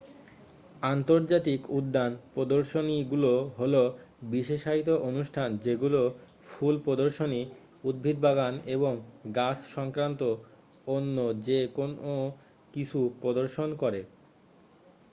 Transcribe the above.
আন্তর্জাতিক উদ্যান প্রদর্শনীগুলো হলো বিশেষায়িত অনুষ্ঠান যেগুলো ফুল প্রদর্শনী উদ্ভিদ বাগান এবং গাছ সক্রান্ত অন্য যে কোন কিছু প্রদর্শন করে